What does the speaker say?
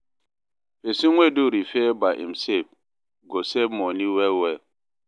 pesin wey do repair by imself go save moni well well